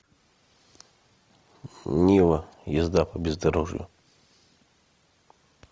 нива езда по бездорожью